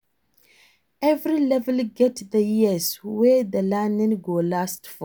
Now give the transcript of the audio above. Every level get the years wey the learning go last for